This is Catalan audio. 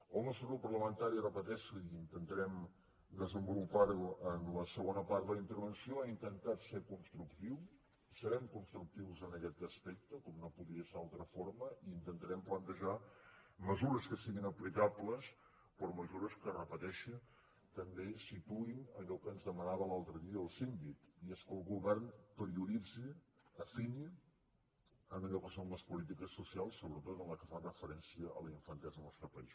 el nostre grup parlamentari ho repeteixo i intentarem desenvolupar ho en la segona part de la intervenció ha intentat ser constructiu serem constructius en aquest aspecte com no podia ser d’altra forma i intentarem plantejar mesures que siguin aplicables però mesures que ho repeteixo també situïn allò que ens demanava l’altre dia el síndic i és que el govern prioritzi afini en allò que són les polítiques socials sobretot en les que fan referència a la infantesa al nostre país